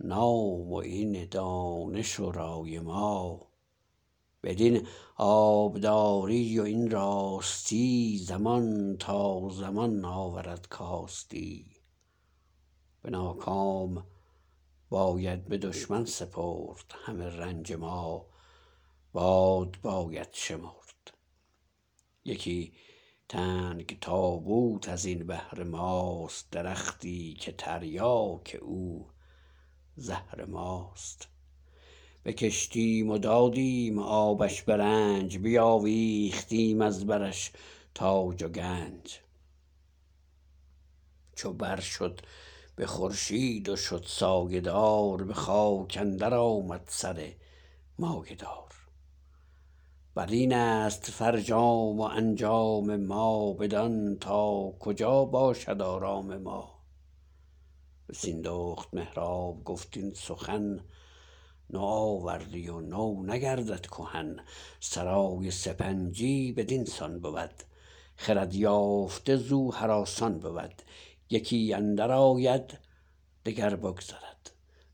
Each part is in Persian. نام و این دانش و رای ما بدین آبداری و این راستی زمان تا زمان آورد کاستی به ناکام باید به دشمن سپرد همه رنج ما باد باید شمرد یکی تنگ تابوت ازین بهر ماست درختی که تریاک او زهر ماست بکشتیم و دادیم آبش به رنج بیاویختیم از برش تاج و گنج چو بر شد به خورشید و شد سایه دار به خاک اندر آمد سر مایه دار برینست فرجام و انجام ما بدان تا کجا باشد آرام ما به سیندخت مهراب گفت این سخن نوآوردی و نو نگردد کهن سرای سپنجی بدین سان بود خرد یافته زو هراسان بود یکی اندر آید دگر بگذرد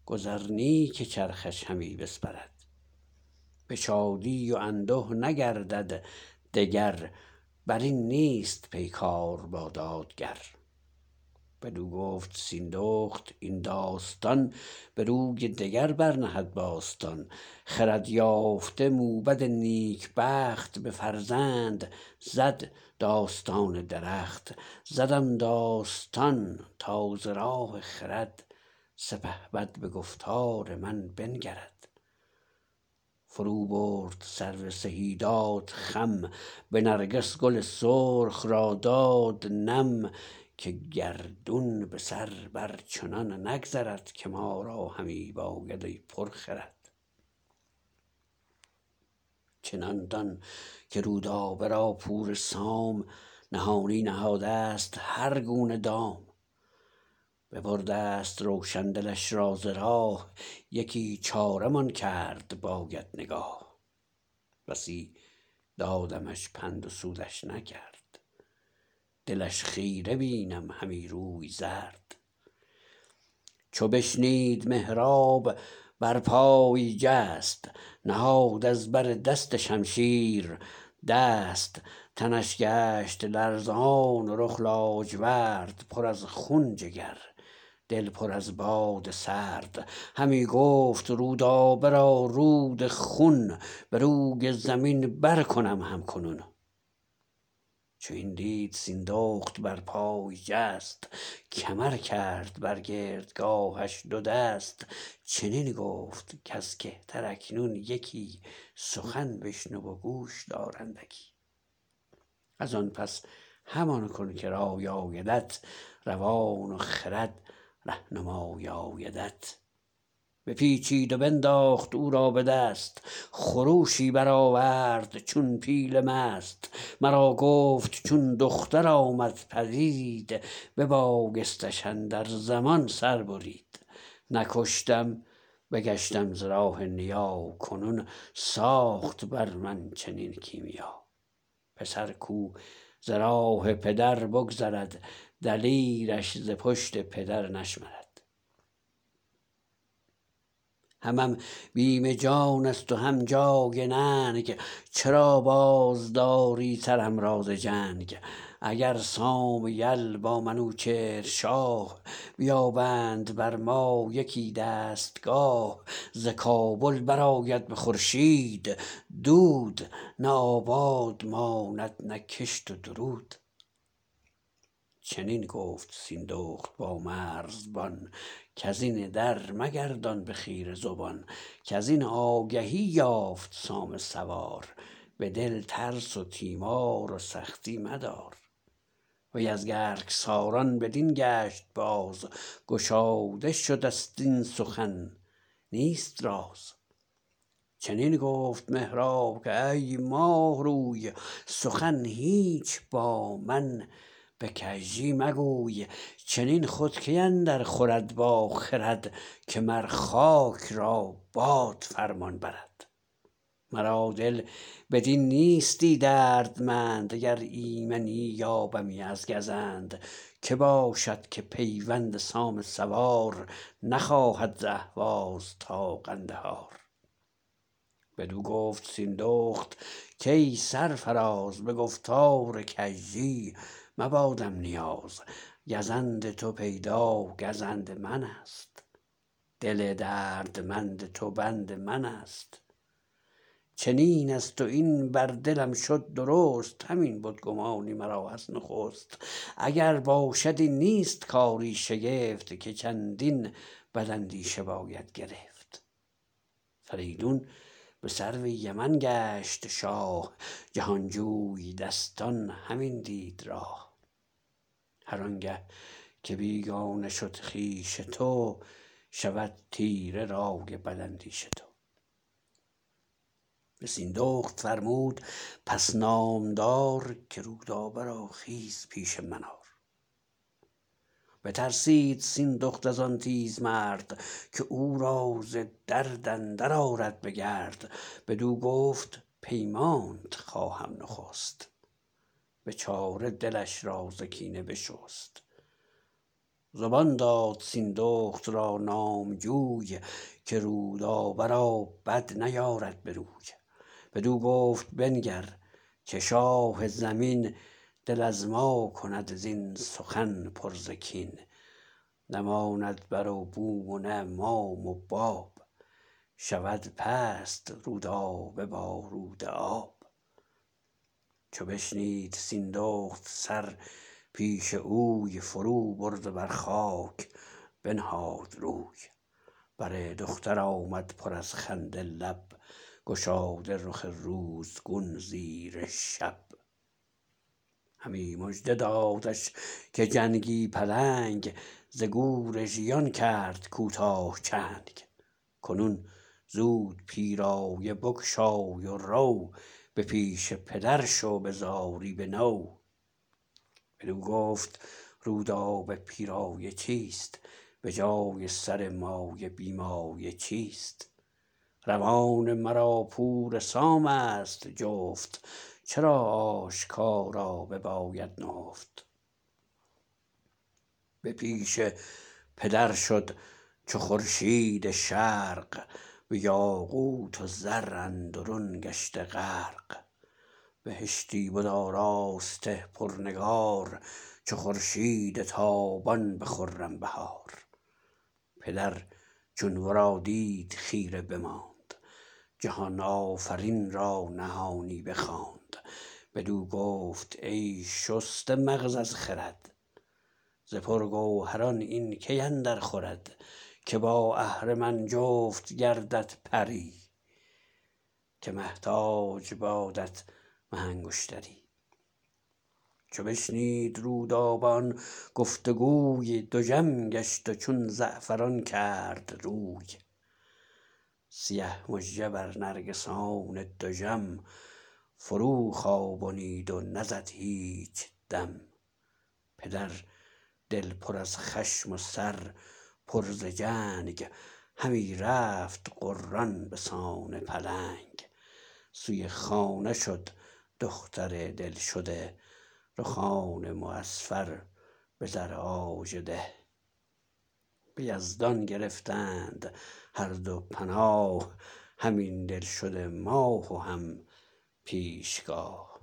گذر نی که چرخش همی بسپرد به شادی و انده نگردد دگر برین نیست پیکار با دادگر بدو گفت سیندخت این داستان بروی دگر بر نهد باستان خرد یافته موبد نیک بخت به فرزند زد داستان درخت زدم داستان تا ز راه خرد سپهبد به گفتار من بنگرد فرو برد سرو سهی داد خم به نرگس گل سرخ را داد نم که گردون به سر بر چنان نگذرد که ما را همی باید ای پرخرد چنان دان که رودابه را پور سام نهانی نهادست هر گونه دام ببردست روشن دلش را ز راه یکی چاره مان کرد باید نگاه بسی دادمش پند و سودش نکرد دلش خیره بینم همی روی زرد چو بشنید مهراب بر پای جست نهاد از بر دست شمشیر دست تنش گشت لرزان و رخ لاجورد پر از خون جگر دل پر از باد سرد همی گفت رودابه را رود خون بروی زمین بر کنم هم کنون چو این دید سیندخت برپای جست کمر کرد بر گردگاهش دو دست چنین گفت کز کهتر اکنون یکی سخن بشنو و گوش دار اندکی ازان پس همان کن که رای آیدت روان و خرد رهنمای آیدت بپیچید و بنداخت او را بدست خروشی برآورد چون پیل مست مرا گفت چون دختر آمد پدید ببایستش اندر زمان سر برید نکشتم بگشتم ز راه نیا کنون ساخت بر من چنین کیمیا پسر کو ز راه پدر بگذرد دلیرش ز پشت پدر نشمرد همم بیم جانست و هم جای ننگ چرا بازداری سرم را ز جنگ اگر سام یل با منوچهر شاه بیابند بر ما یکی دستگاه ز کابل برآید به خورشید دود نه آباد ماند نه کشت و درود چنین گفت سیندخت با مرزبان کزین در مگردان به خیره زبان کزین آگهی یافت سام سوار به دل ترس و تیمار و سختی مدار وی از گرگساران بدین گشت باز گشاده شدست این سخن نیست راز چنین گفت مهراب کای ماه روی سخن هیچ با من به کژی مگوی چنین خود کی اندر خورد با خرد که مر خاک را باد فرمان برد مرا دل بدین نیستی دردمند اگر ایمنی یابمی از گزند که باشد که پیوند سام سوار نخواهد ز اهواز تا قندهار بدو گفت سیندخت کای سرفراز به گفتار کژی مبادم نیاز گزند تو پیدا گزند منست دل دردمند تو بند منست چنین است و این بر دلم شد درست همین بدگمانی مرا از نخست اگر باشد این نیست کاری شگفت که چندین بد اندیشه باید گرفت فریدون به سرو یمن گشت شاه جهانجوی دستان همین دید راه هرانگه که بیگانه شد خویش تو شود تیره رای بداندیش تو به سیندخت فرمود پس نامدار که رودابه را خیز پیش من آر بترسید سیندخت ازان تیز مرد که او را ز درد اندر آرد به گرد بدو گفت پیمانت خواهم نخست به چاره دلش را ز کینه بشست زبان داد سیندخت را نامجوی که رودابه را بد نیارد بروی بدو گفت بنگر که شاه زمین دل از ما کند زین سخن پر ز کین نه ماند بر و بوم و نه مام و باب شود پست رودابه با رودآب چو بشنید سیندخت سر پیش اوی فرو برد و بر خاک بنهاد روی بر دختر آمد پر از خنده لب گشاده رخ روزگون زیر شب همی مژده دادش که جنگی پلنگ ز گور ژیان کرد کوتاه چنگ کنون زود پیرایه بگشای و رو به پیش پدر شو به زاری بنو بدو گفت رودابه پیرایه چیست به جای سر مایه بی مایه چیست روان مرا پور سامست جفت چرا آشکارا بباید نهفت به پیش پدر شد چو خورشید شرق به یاقوت و زر اندرون گشته غرق بهشتی بد آراسته پرنگار چو خورشید تابان به خرم بهار پدر چون ورا دید خیره بماند جهان آفرین را نهانی بخواند بدو گفت ای شسته مغز از خرد ز پرگوهران این کی اندر خورد که با اهرمن جفت گردد پری که مه تاج بادت مه انگشتری چو بشنید رودابه آن گفت وگوی دژم گشت و چون زعفران کرد روی سیه مژه بر نرگسان دژم فرو خوابنید و نزد هیچ دم پدر دل پر از خشم و سر پر ز جنگ همی رفت غران بسان پلنگ سوی خانه شد دختر دل شده رخان معصفر بزر آژده به یزدان گرفتند هر دو پناه هم این دل شده ماه و هم پیشگاه